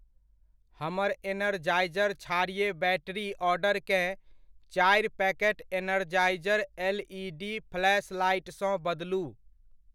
हमर एनरजाइजर क्षारीय बैटरी ऑर्डरकेँ चारि packet Energizer L E D फ्लैशलाइटसँ बदलू।